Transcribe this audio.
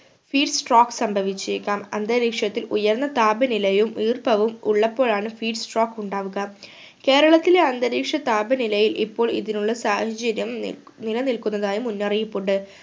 speed stroke സംഭവിച്ചേക്കാം അന്തരീക്ഷത്തിൽ ഉയർന്ന താപനിലയും ഈർപ്പവും ഉള്ളപ്പോൾ ആണ് speed stroke ഉണ്ടാവുക കേരളത്തിലെ അന്തരീക്ഷ താപനിലയിൽ ഇപ്പോൾ ഇതിനുള്ള സാഹചര്യം ന്നി നിലനിൽക്കുന്നതായി മുന്നറിയിപ്പുണ്ട്